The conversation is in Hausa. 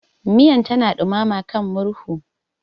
Miyan tana dumama kan murhu.